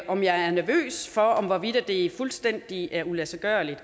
om jeg er nervøs for hvorvidt det fuldstændig er uladsiggørligt